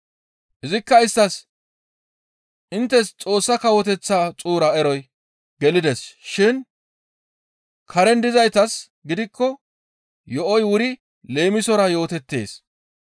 Izikka isttas, «Inttes Xoossa Kawoteththa xuura eroy gelides shin karen dizaytas gidikko yo7oy wuri leemisora yootettees.